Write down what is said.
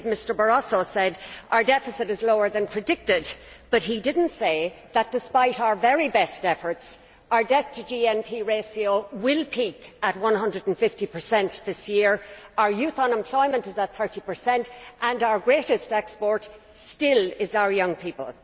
Indeed Mr Barroso said that our deficit is slower than predicted but he did not say that, despite our very best efforts, our debt to GNP ratio will peak at 150 this year, our youth unemployment is at 30 and our greatest export still is our young people.